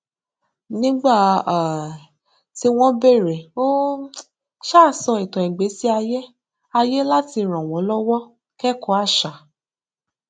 nígbà um tí wọn béèrè ó um sọ ìtàn ìgbésí ayé ayé láti ràn wọn lọwọ kẹkọọ àṣà